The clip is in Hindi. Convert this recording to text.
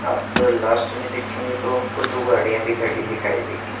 आप लास्ट में देखेगे तो आपको दो गाड़िया भी खड़ी दिखाई देगी।